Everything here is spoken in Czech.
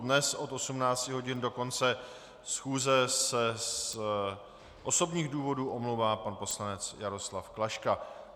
Dnes od 18 hodin do konce schůze se z osobních důvodů omlouvá pan poslanec Jaroslav Klaška.